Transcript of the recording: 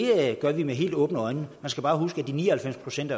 gør vi med helt åbne øjne man skal bare huske at de ni og halvfems procent